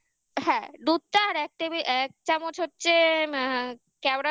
হ্যাঁ দুধটা আর এক table এক চামচ হচ্ছে অ্যা কেওড়া জল